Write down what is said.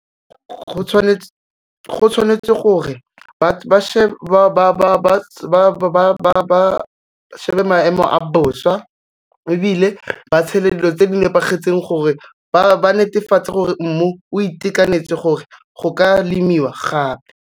Go tshwanetswe gore ba shebe maemo a bosa ebile ba tshele dilo tse di nepagetseng gore ba netefatse gore mmu o itekanetse gore go ka lemiwa gape.